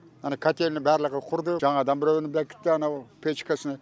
ана кательный барлығы кұрды жаңадан біреуін бекітті анау печкасыны